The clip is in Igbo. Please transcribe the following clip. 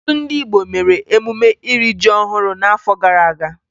Ọtụtụ ndị Igbo mere emume iri ji ọhụrụ n'afọ gara aga